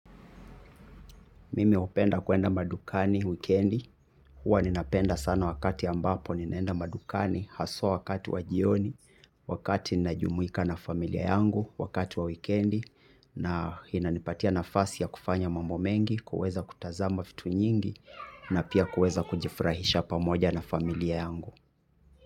Mimi hupenda kuenda madukani wikendi, huwa ninapenda sana wakati ambapo ninaenda madukani, haswa wakati wajioni, wakati najumuika na familia yangu, wakati wa wikendi, na hinanipatia nafasi ya kufanya mambo mengi, kuweza kutazama fitu nyingi, na pia kuweza kujifurahisha pamoja na familia yangu.